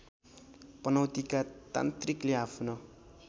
पनौतीका तान्त्रिकले आफ्नो